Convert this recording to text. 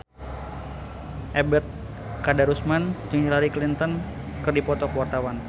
Ebet Kadarusman jeung Hillary Clinton keur dipoto ku wartawan